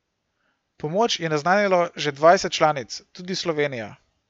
Pomoč je naznanilo že dvajset članic, tudi Slovenija.